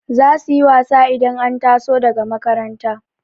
zasuyi wasa idan an taso daga makaranta